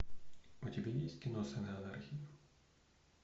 у тебя есть кино сыны анархии